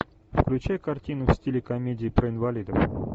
включай картину в стиле комедии про инвалидов